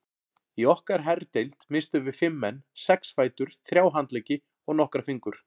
Í okkar herdeild misstum við fimm menn, sex fætur, þrjá handleggi og nokkra fingur.